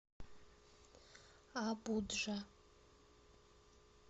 абуджа